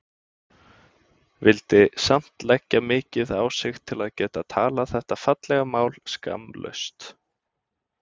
Vildi samt leggja mikið á sig til þess að geta talað þetta fallega mál skammlaust.